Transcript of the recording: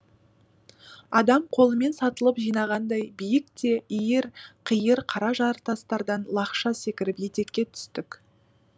адам қолымен сатылып жинағандай биік те иір қиыр қара жартастардан лақша секіріп етекке түстік